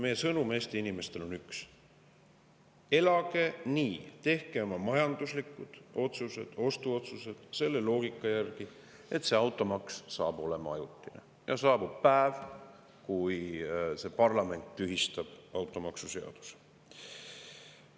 Meie sõnum Eesti inimestele on üks: elage nii, tehke oma majanduslikud otsused, ostuotsused selle loogika järgi, et see automaks saab olema ajutine ja saabub päev, kui parlament tühistab automaksuseaduse.